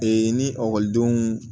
ni ekɔlidenw